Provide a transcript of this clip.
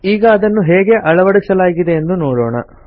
ಈಗ ಅದನ್ನು ಹೇಗೆ ಅಳವಡಿಸಲಾಗಿದೆ ಎಂದು ನೋಡೋಣ